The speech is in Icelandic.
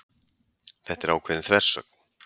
Þetta er ákveðin þversögn